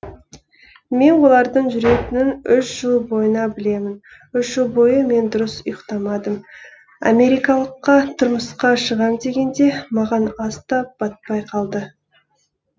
мен олардың жүретінін үш жыл бойына білемін үш жыл бойы мен дұрыс ұйықтамадым америкалыққа тұрмысқа шығам дегенде маған ас та батпай қалды